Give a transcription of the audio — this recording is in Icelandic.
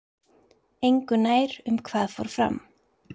Engu nær um hvað fór fram